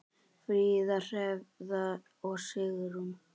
Fríða, Hrefna og Sigrún.